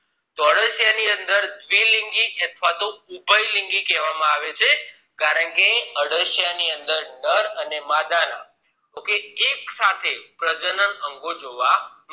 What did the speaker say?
તો અળસિયા ની અંદર દ્વિલિંગી અથવા તોહ ઉભયલિંગી કહેવામાં આવે છે કારણ કે અળસિયા ની અંદરનર અને માદાના એક સાથે પ્રજનન અંગો જોવા મળે છે